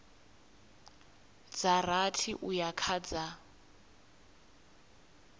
dza rathi uya kha dza